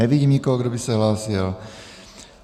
Nevidím nikoho, kdo by se hlásil.